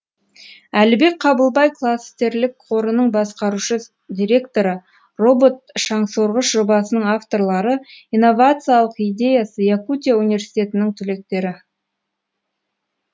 әлібек қабылбай кластерлік қорының басқарушы директоры робот шаңсорғыш жобасының авторлары инновациялық идеясы якутия университетінің түлектері